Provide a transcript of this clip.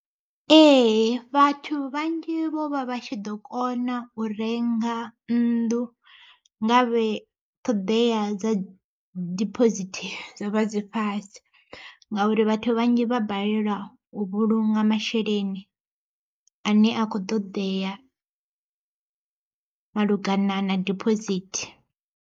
Ee vhathu vhanzhi vho vha vha tshi ḓo kona u renga nnḓu, nga vhe ṱhoḓea dza dibosithi dzo vha dzi fhasi. Ngauri vhathu vhanzhi vha balelwa u vhulunga masheleni ane a kho ṱoḓea malugana na dibosithi.